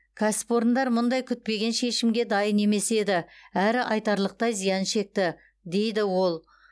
кәсіпорындар мұндай күтпеген шімге дайын емес еді әрі айтарлықтай зиян шекті дейді ол